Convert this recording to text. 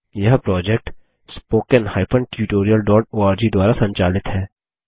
यह project httpspoken tutorialorg द्वारा संचालित है